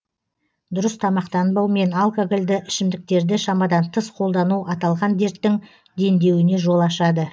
дұрыс тамақтанбау мен алкогольді ішімдіктерді шамадан тыс қолдану аталған дерттің дендеуіне жол ашады